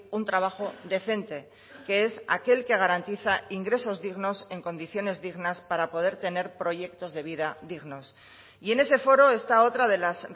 un trabajo decente que es aquel que garantiza ingresos dignos en condiciones dignas para poder tener proyectos de vida dignos y en ese foro está otra de las